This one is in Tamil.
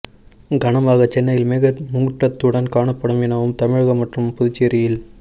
காரணமாக சென்னையில் மேகம் மூட்டத்துடன் காணப்படும் எனவும் தமிழகம் மற்றும் புதுச்சேரியில்